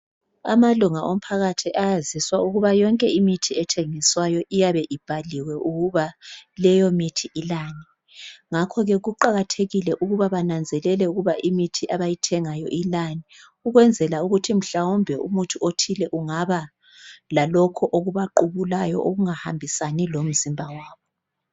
Amalunga omphakathi ayaziswa ukuba yonke imithi ethengiswayo iyabe ibhaliwe ukuba leyo mithi ilani ngakho ke kuqakathekile ukuba bananzelele ukuba imithi abayithengayo ilani ukwenzela ukuthi mhlawumbe umuthi othile ungaba lalokho okubaqubulayo okungahambisani lomzimba wabo.